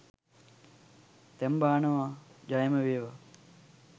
දැන් බානවා ජයම වේවා